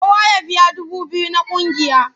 Kowa ya biya dubu biyu na ƙungiya!